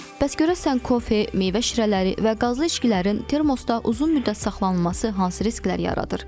Bəs görəsən kofe, meyvə şirələri və qazlı içkilərin termoda uzun müddət saxlanılması hansı risklər yaradır?